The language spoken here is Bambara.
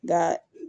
Nga